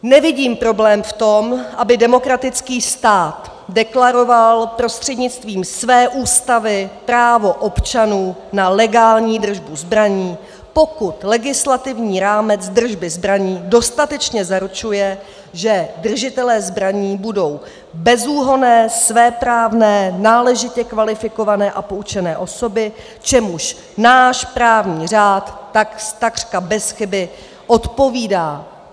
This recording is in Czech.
Nevidím problém v tom, aby demokratický stát deklaroval prostřednictvím své ústavy právo občanů na legální držbu zbraní, pokud legislativní rámec držby zbraní dostatečně zaručuje, že držitelé zbraní budou bezúhonné, svéprávné, náležitě kvalifikované a poučené osoby, čemuž náš právní řád takřka bez chyby odpovídá.